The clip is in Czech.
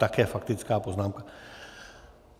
Také faktická poznámka.